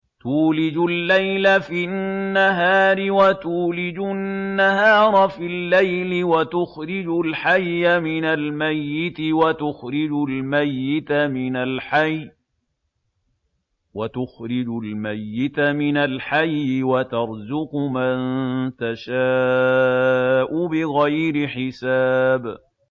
تُولِجُ اللَّيْلَ فِي النَّهَارِ وَتُولِجُ النَّهَارَ فِي اللَّيْلِ ۖ وَتُخْرِجُ الْحَيَّ مِنَ الْمَيِّتِ وَتُخْرِجُ الْمَيِّتَ مِنَ الْحَيِّ ۖ وَتَرْزُقُ مَن تَشَاءُ بِغَيْرِ حِسَابٍ